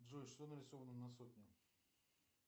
джой что нарисовано на сотне